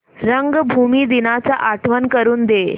रंगभूमी दिनाची आठवण करून दे